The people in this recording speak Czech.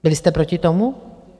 Byli jste proti tomu?